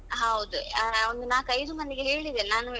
ಹೌದು ಹಾ ಒಂದು ನಾಕ್ ಐದು ಮಂದಿಗೆ ಹೇಳಿದೆನೆ ನಾನು.